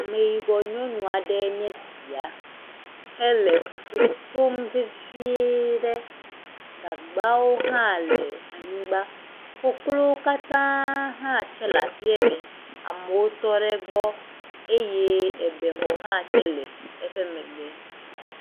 Ameyibɔ nyɔnu aɖee nye esia hele fufu tom veviee ɖe, gagbawo hã le anyigba, koklowo katã hã tsɛ le aƒee me, amewo tɔ ɖe egbɔ eye ebexɔ hã tsɛ le eƒe megbe.